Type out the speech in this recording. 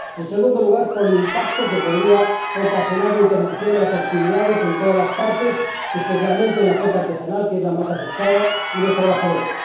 en segundo lugar, por el impacto que podría ocasionar una interrupción de las actividades en todas las partes, especialmente en la flota artesanal —que es la más afectada— y los trabajadores